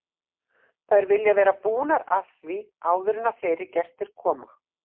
Þær vilja vera búnar að því áður en fleiri gestir koma.